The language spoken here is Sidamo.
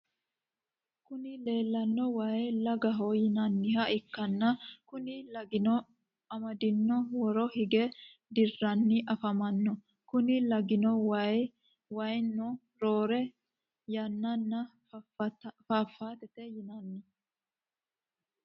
Kuni lelano wayi lagagho yinaniha ikana kuni lagino imidinni wooro higge dirani afamano. Kuni lagino woy waayino rore yanana faffatete yinanni.